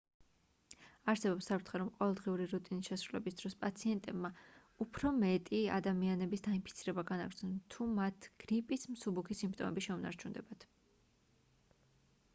არსებობს საფრთხე რომ ყოველდღიური რუტინის შესრულების დროს პაციენტებმა უფრო მეტი ადამიანების დაინფიცირება განაგრძონ თუ მათ გრიპის მსუბუქი სიმპტომები შეუნარჩუნდებათ